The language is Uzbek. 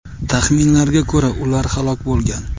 Taxminlarga ko‘ra, ular halok bo‘lgan.